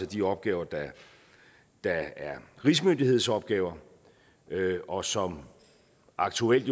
de opgaver der er rigsmyndighedsopgaver og som aktuelt